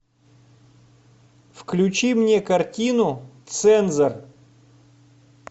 включи мне картину цензор